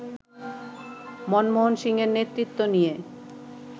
মনমোহন সিংহের নেতৃত্ব নিয়ে